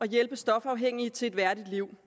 hjælpe stofafhængige til et værdigt liv